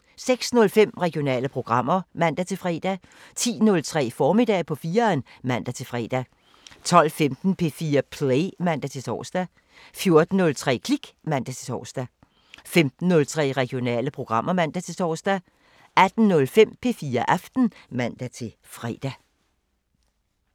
06:05: Regionale programmer (man-fre) 10:03: Formiddag på 4'eren (man-fre) 12:15: P4 Play (man-tor) 14:03: Klik (man-tor) 15:03: Regionale programmer (man-tor) 18:05: P4 Aften (man-fre)